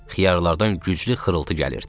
Xiyarlardan güclü xırıltı gəlirdi.